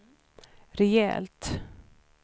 rejält